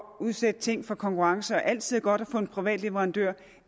udsætte ting for konkurrence og altid er godt at få en privat leverandør